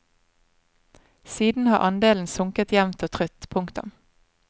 Siden har andelen sunket jevnt og trutt. punktum